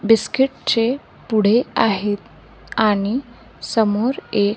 biscuit चे पुडे आहेत आणि समोर एक--